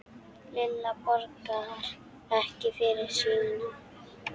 Lilla borgar ekki fyrir sína.